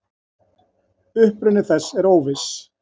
Uppruni þess er óviss.